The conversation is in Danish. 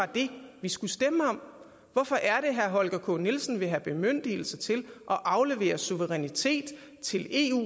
det vi skulle stemme om hvorfor er det herre holger k nielsen vil have bemyndigelse til at aflevere suverænitet til eu